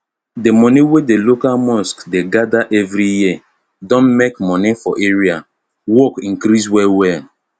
d moni wey d local mosque dey gather every year don make moni for area work increase well well